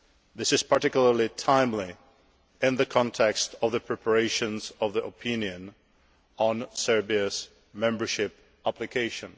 This is particularly timely in the context of the preparations of the opinion on Serbia's membership application.